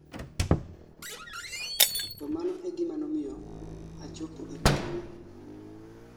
to mano e gima nomiyo achopo e parono